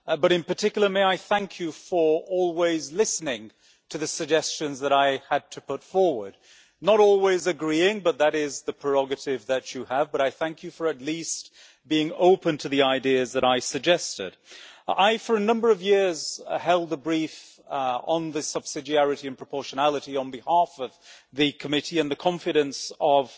In particular, thank you for always listening to the suggestions that I had to put forward not always agreeing, but that is your prerogative but thank you for at least being open to the ideas that I suggested. For a number of years, I held the brief on subsidiarity and proportionality on behalf of the Committee, and the confidence of